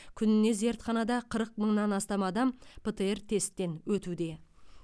күніне зертханада қырық мыңнан астам адам птр тесттен өтуде